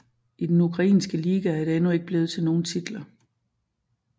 I den ukrainske liga er det endnu ikke blevet til nogen titler